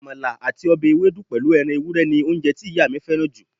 Àmàlà àti ọbẹ̀ ewédú pẹ̀lú ẹran ewúrẹ́ ni oúnjẹ tí ìyá mi fẹ́ràn jù